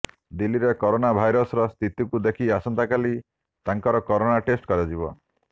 ଦିଲ୍ଲୀରେ କରୋନା ଭାଇରସର ସ୍ଥିତିକୁ ଦେଖି ଆସନ୍ତାକାଲି ତାଙ୍କର କରୋନା ଟେଷ୍ଟ କରାଯିବ